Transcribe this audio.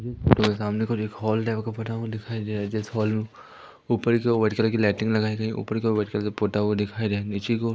जिस फोटो के सामने की ओर एक हॉल दिखाई दे रहा है जिस हॉल मे ऊपर की ओर व्हाइट कलर की लाइटिंग लगाई गयी है ऊपर के ओर व्हाइट कलर से पोता हुआ दिखाई दे नीचे कि ओ --